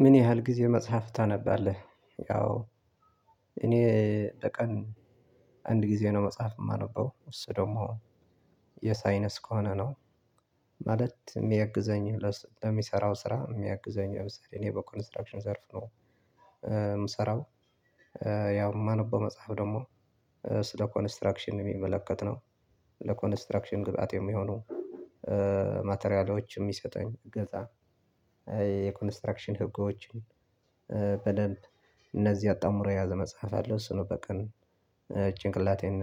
ምን ያህል ጊዜ መጽሐፍ ታነባለህ? ያው እኔ በቀን አንድ ጊዜ ነው መጽሐፍ የማነበው እሱ ደግሞ የሳይንስ ከሆነ ነው ማለት የሚያግዘኝ የሚሰራው ስራ የሚያግዘኝ የሆነ እኔ በኮንስትራክሽን ዘርፍ ነው። የምሰራው ያው የማነበው መጽሐፍ ደግሞ ስለ ኮንስትራክሽን የሚመለከት ነው ለኮንስትራክሽን ግብአት የሚሆኑ ማቴሪያሎች የሚሰጠኝ እገዛ። የኮንስትራክሽን ህጎችን በደንብ እነዚህ አጣምሮ የያዘ መጽሐፍ አለው እሱን ነው በቀን ጭንቅላቴን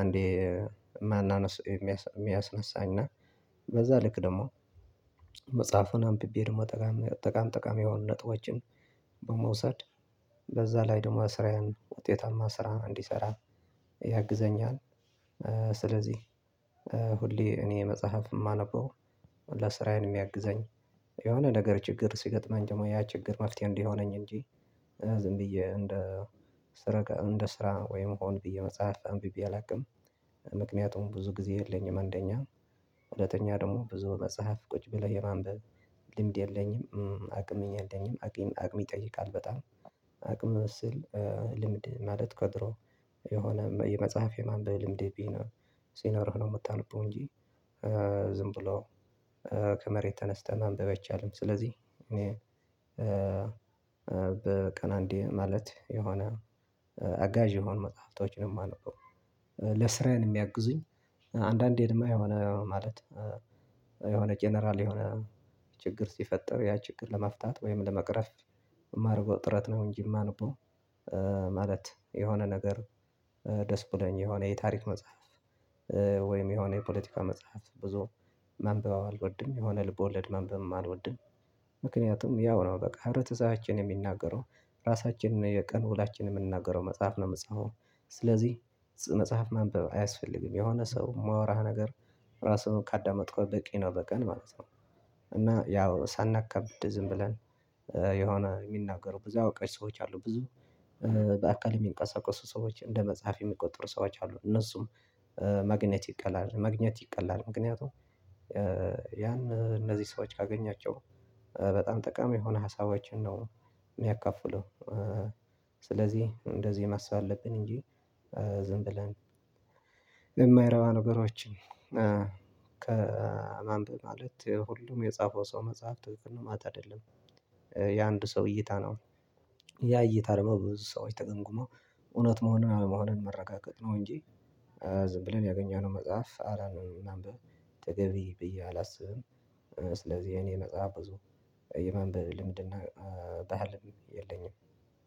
አንዴ ማን የሚያስነሳኝ እና በዛ ልክ ደግሞ መጽሐፉን አምብቤ ደግሞ ጠቃሚ ጠቃሚ ጠቃሚ ነጥቦችን በመውሰድ በዛ ላይ ደግሞ ስራየን ውጤታማ ስራ እንዲሰራ ያግዘኛል። ስለዚህ ሁሌ እኔ መጽሐፍ የማነበው ስራዬን የሚያግዘኝ የሆነ ነገር ችግር ሲገጥመን ደግሞ ያ ችግር መፍትሄ እንዲሆነኝ እንጂ ዝም ብዬ እንደ ስራ እንደ ስራ ወይም ሆንብየ መጽሐፍ አንብቤ አላውቅም። ምክንያቱም ብዙ ጊዜ የለኝም አንደኛ ሁለተኛ ደግሞ ብዙ መጽሐፍ ቁጭ ብለህ የማንበብ ልምድ የለኝም አቅምም የለኝም አቅም አቅም ይጠይቃል። በጣም አቅም ስል ልምድ ማለት ከድሮ የሆነ የመጽሐፍ የማንበብ ልምድ ቢኖር ሲኖርህ ነው የምታነበው እንጂ ዝም ብሎ ከመሬት ተነስተን ማንብበ አይቻልም። ስለዚህ በቀን አንዴ ማለት የሆነ አጋዥ የሆኑ መጽሐፍቶችን የማነበው ለስራዬን የሚያግዙኝ አንዳንዴ እማ የሆነ ማለት የሆነ ጀነራል የሆነ ችግር ሲፈጠር ያ ችግር ለመፍታት ወይም ለመቅረፍ የማረገው ጥረት ነው እንጂ የማነበው። ማለት የሆነ ነገር ደስ ብሎኝ የሆነ የታሪክ መጽሐፍ ወይም የሆነ የፖለቲካ መጽሐፍ ብዙ ማንበብ አልወድም የሆነ ልቦለድ ማንበብም አልወድም። ምክንያቱም ያው ነው በቃ ህብረተሰባችን የሚናገረው ራሳችንን የቀን ውሎአችንን የምንናገረው መጽሐፍ ነው የምጽፈው ስለዚህ መጽሐፍ መንበብ አያስፈልግም የሆነ ሰው የማወራህ ነገር ራሱን ካዳመጥከው በቂ ነው። በቀን ማለት ነው እና ያው ሳናከብድ ዝም ብለን የሆነ የሚናገሩ ብዙ አውቀሽ ሰዎች አሉ ብዙ በአካል የሚንቀሳቀሱ ሰዎች እንደ መጽሐፍ የሚቆጥሩ ሰዎች አሉ እነሱም ማግኘት ይቀላል ማግኘት ይቀላል ምክንያቱም። ያን እነዚህ ሰዎች ካገኛቸው በጣም ጠቃሚ የሆነ ሀሳቦችን ነው የሚያካፍለው ስለዚህ እንደዚህ ማሰብ አለብን እንጂ ዝም ብለን የማይረባ ነገሮችን ከማንበብ ማለት ሁሉም የጻፈው ሰው መጽሐፍት ምንም ማለት አይደለም። የአንድ ሰው እይታ ነው ያ እየታረመ ብዙ ሰዎች ተገምግሞ እውነት መሆንን አለመሆንን መረጋገጥ ነው እንጂ ዝም ብለን ያገኘነው መጽሐፍ አረ ነው ምናምን ተገቢ ብዬ አላስብም። ስለዚህ የኔ መጽሐፍ ብዙ የማንበብ ልምድና ባህልም የለኝም።